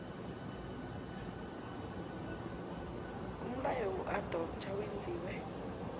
umlayo wokuadoptha wenziwe